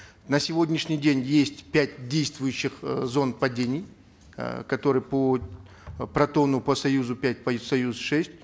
на сегодняшний день есть пять действующих э зон падений э которые по протону по союзу пять по союзу шесть